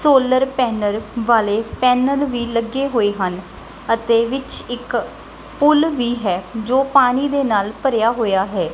Solar panel ਵਾਲੇ panel ਵੀ ਲੱਗੇ ਹੋਏ ਹਨ ਅਤੇ ਵਿੱਚ ਇੱਕ ਪੁੱਲ ਵੀ ਹੈ ਜੋ ਪਾਣੀ ਦੇ ਨਾਲ ਭਰਿਆ ਹੋਇਆ ਹੈ।